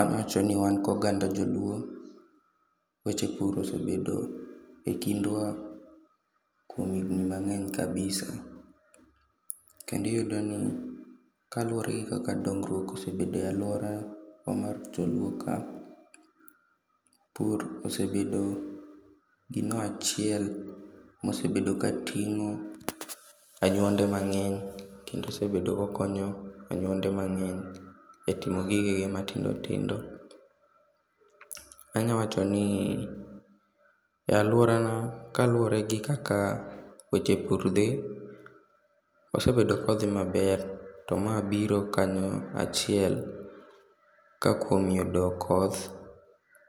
Awacho ni wan gi oganda joluo weche pur osebedo e kindwa kuom higni mangeny kabisa. Kendo iyudo ni kaluore gi kaka weche dongruok osebedo e aluora kuom jo luo ka, pur osebedo gino achiel mosebedo kating'o anyuonde mang'eny kendo osebedo ka okonyo anyuonde mang'eny e timo gige gi matindo tindo. Anya wacho ni,e aluora na kaluore gi kaka weche pur dhi, osebedo kodhi maber to ma biro kanyo achiel ka kuom yudo koth